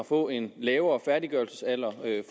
får en lavere færdiggørelsesalder